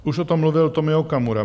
Už o tom mluvil Tomio Okamura.